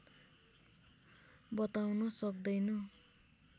बताउन सक्दैन